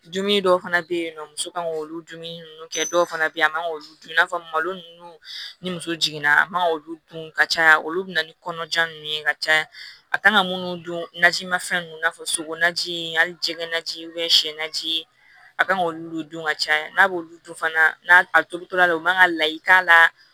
Dumuni dɔw fana bɛ yen nɔ muso kan k'olu dumuni ninnu kɛ dɔw fana bɛ yen a man k'olu dun i n'a fɔ malo ninnu ni muso jiginna a man k'olu dun ka caya olu bɛ na ni kɔnɔja ninnu ye ka caya a kan ka munnu dun naji ma fɛn ninnu fɔ sokɔnɔ ji in hali jɛgɛn naji siyɛn na ji a ka kan k'olu dun ka caya n'a b'olu dun fana a tobitɔ la u man ka layi k'a la